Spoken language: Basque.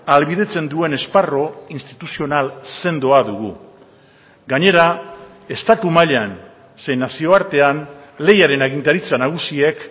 ahalbidetzen duen esparru instituzional sendoa dugu gainera estatu mailan zein nazioartean lehiaren agintaritza nagusiek